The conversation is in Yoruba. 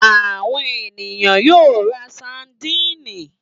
Àwọn ènìyàn yóò ra sadínì.